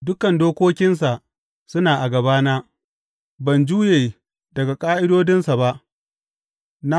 Dukan dokokinsa suna a gābana; ban juye daga ƙa’idodinsa ba.